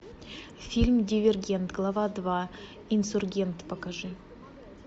фильм дивергент глава два инсургент покажи